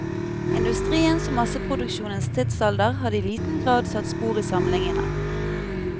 Industriens og masseproduksjonens tidsalder hadde i liten grad hadde satt spor i samlingene.